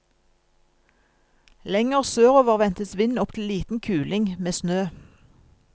Lenger sørover ventes vind opptil liten kuling, med snø.